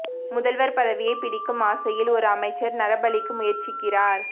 முதல்வர் பதவியைப் பிடிக்கும் ஆசையில் ஒரு அமைச்சர் நரபலிக்கு முயற்சிக்கிறார்